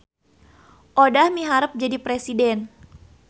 Odah miharep jadi presiden